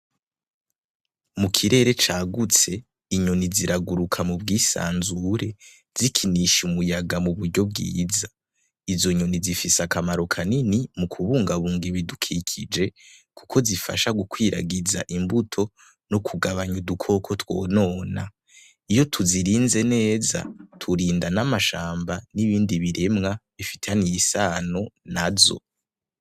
Mu kirere cagutse inyoni ziraguruka mu bwisanzure zikinisha umuyaga mu buryo bwiza izo nyoni zifise akamaro kanini mu kubungabunga ibidukikije kuko zifasha gukwiragiza imbuto no kugabanya udukoko twonona, iyo tuzirinze neza turinda n'amashamba n'ibindi biremwa bifitaniye isano nazo.